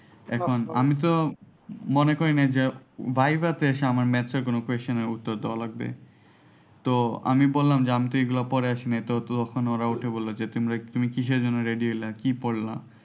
এখন আমি তো মনে করে নাই যে viva তে আমার maths এর কোন question এর উত্তর দেওয়া লাগবে তো আমি বললাম যে আমি এগুলো তো পড়ে আসি নাই তো তখন ওরা উঠে বলল যে তুমি কিসের জন্য ready হইলা কি পড়লা।